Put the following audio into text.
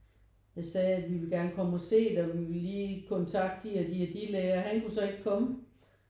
Jeg sagde at vi ville gerne komme og se det og vi ville lige kontakte de og de og de lærer han kunne så ikke komme